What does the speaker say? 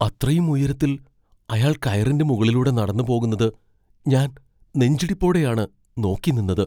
അത്രയും ഉയരത്തിൽ അയാൾ കയറിൻ്റെ മുകളിലൂടെ നടന്നുപോകുന്നത് ഞാൻ നെഞ്ചിടിപ്പോടെയാണ് നോക്കി നിന്നത്.